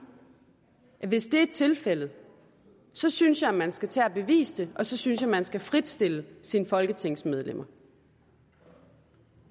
at hvis det er tilfældet så synes jeg at man skal tage at bevise det og så synes jeg at man skal fritstille sine folketingsmedlemmer